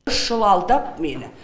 үш жыл алдап мені